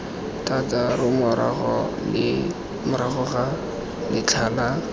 thataro morago ga letlha la